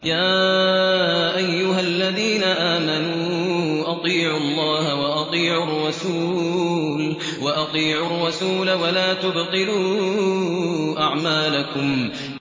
۞ يَا أَيُّهَا الَّذِينَ آمَنُوا أَطِيعُوا اللَّهَ وَأَطِيعُوا الرَّسُولَ وَلَا تُبْطِلُوا أَعْمَالَكُمْ